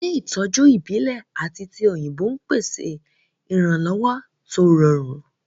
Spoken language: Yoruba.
Ilé ìtọ́jú ìbílẹ̀ àti ti òyìnbó ń pèsè ìrànlọ́wọ́ tó rọrùn